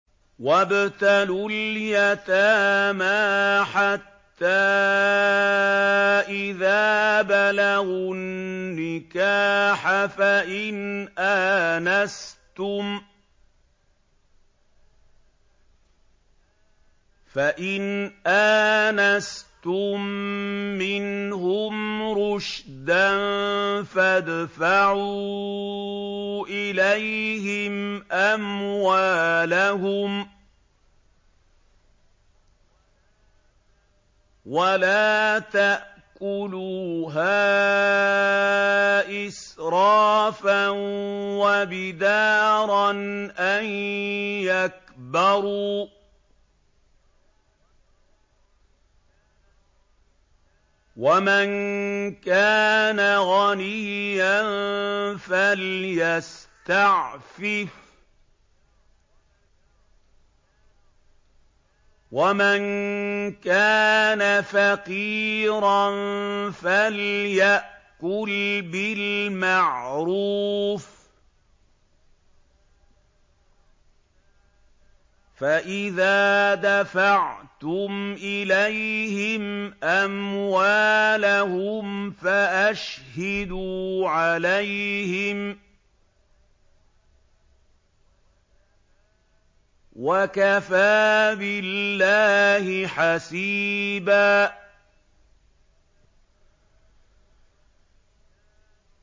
وَابْتَلُوا الْيَتَامَىٰ حَتَّىٰ إِذَا بَلَغُوا النِّكَاحَ فَإِنْ آنَسْتُم مِّنْهُمْ رُشْدًا فَادْفَعُوا إِلَيْهِمْ أَمْوَالَهُمْ ۖ وَلَا تَأْكُلُوهَا إِسْرَافًا وَبِدَارًا أَن يَكْبَرُوا ۚ وَمَن كَانَ غَنِيًّا فَلْيَسْتَعْفِفْ ۖ وَمَن كَانَ فَقِيرًا فَلْيَأْكُلْ بِالْمَعْرُوفِ ۚ فَإِذَا دَفَعْتُمْ إِلَيْهِمْ أَمْوَالَهُمْ فَأَشْهِدُوا عَلَيْهِمْ ۚ وَكَفَىٰ بِاللَّهِ حَسِيبًا